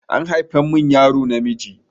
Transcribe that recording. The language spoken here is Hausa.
An haifa min yaro namiji.